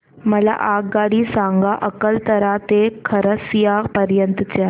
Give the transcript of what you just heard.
मला आगगाडी सांगा अकलतरा ते खरसिया पर्यंत च्या